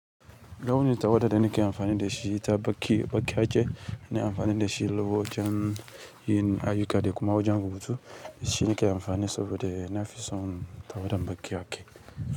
Launin tawada da nake amfani da shi ta baki bakyake. Ina amfani da shi lokacin yin ayyuka da kuma wajen rubutu. Shi nake amfani saboda na fi son tawada kyau.